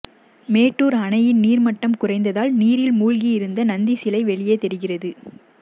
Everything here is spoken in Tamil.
மேட்டூர் அணையின் நீர்மட்டம் குறைந்ததால் நீரில் மூழ்கி இருந்த நந்தி சிலை வெளியே தெரிகிறது